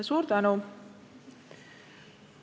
Suur tänu!